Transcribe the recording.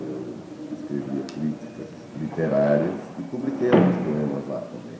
Eu escrevia críticas literárias e publiquei alguns poemas lá também.